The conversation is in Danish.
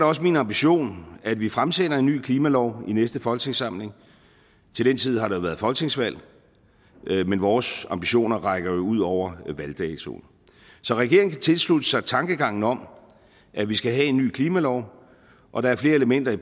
også min ambition at vi fremsætter en ny klimalov i næste folketingssamling til den tid har der været folketingsvalg men vores ambitioner rækker jo ud over valgdatoen så regeringen tilslutter sig tankegangen om at vi skal have en ny klimalov og der er flere elementer i